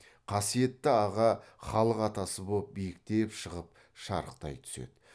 қасиетті аға халық атасы боп биіктеп шығып шарықтай түсед